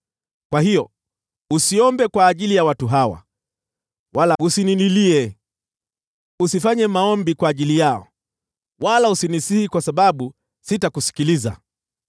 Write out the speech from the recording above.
“Kwa hiyo usiombe kwa ajili ya watu hawa, wala usinililie, na usifanye maombi kwa ajili yao; usinisihi, kwa sababu sitakusikiliza.